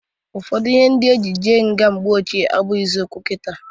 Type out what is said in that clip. Ụfọdụ ihe e ji je nga mgbe ochie abụghịzị okwu kita.